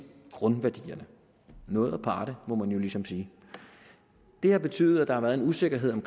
grundværdierne noget aparte må man jo ligesom sige det har betydet at der har været en usikkerhed om